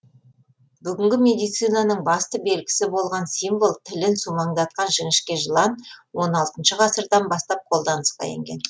бүгінгі медицинаның басты белгісі болған символ тілін сумаңдатқан жіңішке жылан он алтыншы ғасырдан бастап қолданысқа енген